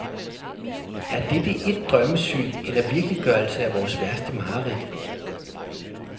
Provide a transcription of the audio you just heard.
Er dette et drømmesyn eller virkeliggørelse af vores værste mareridt?